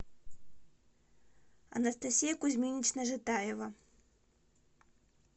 анастасия кузьминична житаева